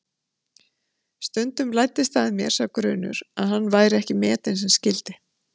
Stundum læddist að mér sá grunur að hann væri ekki metinn sem skyldi.